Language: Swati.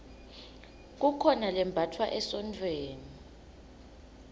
kukhona lembatfwa emasontfweni